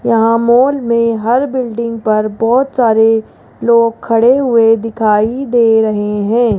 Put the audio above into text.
यहां मॉल मे हर बिल्डिंग पर बहोत सारे लोग खडे हुए दिखाई दे रहे है।